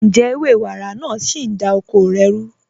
Ǹjẹ̀ ẹwẹ̀ wàrá naà sí ń dá oko rẹ̀ rú?